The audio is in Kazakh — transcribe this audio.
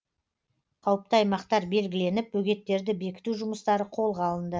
қауіпті аймақтар белгіленіп бөгеттерді бекіту жұмыстары қолға алынды